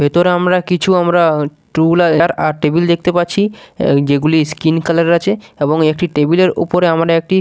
ভেতরে আমরা কিছু আমরা টুল আর টেবিল দেখতে পাচ্ছি যেগুলি স্কিন কালার আছে এবং একটি টেবিল -এর উপরে আমরা একটি--